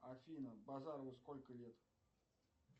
афина базарову сколько лет